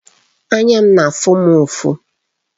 Anya m na-afụ m ufọ